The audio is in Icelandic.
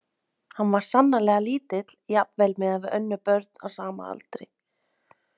Hann var sannarlega lítill, jafnvel miðað við önnur börn á sama aldri.